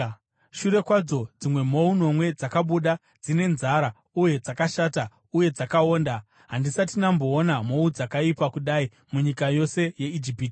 Shure kwadzo, dzimwe mhou nomwe dzakabuda, dzine nzara uye dzakashata uye dzakaonda. Handisati ndamboona mhou dzakaipa kudai munyika yose yeIjipiti.